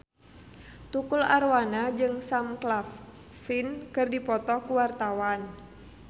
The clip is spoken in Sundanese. Tukul Arwana jeung Sam Claflin keur dipoto ku wartawan